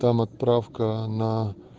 там отправка на